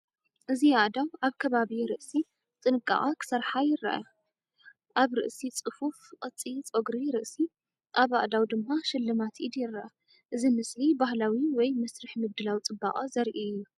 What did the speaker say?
እዚ ኣእዳው ኣብ ከባቢ ርእሲ ብጥንቃቐ ክሰርሓ ይረኣያ። ኣብ ርእሲ ጽፉፍ ቅዲ ጸጉሪ ርእሲ፡ ኣብ ኣእዳው ድማ ስልማት ኢድ ይረአ። እዚ ምስሊ ባህላዊ ወይ መስርሕ ምድላው ጽባቐ ዘርኢ እዩ።